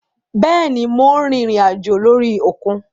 Béèni Mo rìnrìn àjò lórí òkun